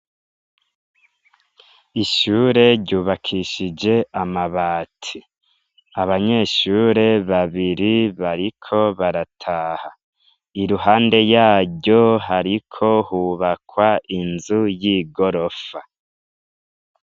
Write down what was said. Ishure ryubakishije amabati. Abanyeshure babiri bariko barataha. Iruhande yaryo hariko hubakwa inzu y'igorofa.